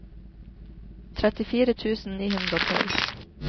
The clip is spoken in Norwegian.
trettifire tusen ni hundre og tolv